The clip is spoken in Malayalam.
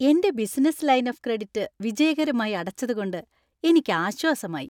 എന്‍റെ ബിസിനസ്സ് ലൈൻ ഓഫ് ക്രെഡിറ്റ് വിജയകരമായി അടച്ചതുകൊണ്ട് എനിക്ക് ആശ്വാസമായി .